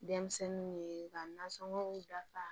Denmisɛnninw ye ka nasɔngɔw dafa